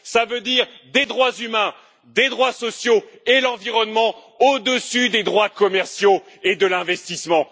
Cela veut dire des droits humains, des droits sociaux et l'environnement au dessus des droits commerciaux et de l'investissement.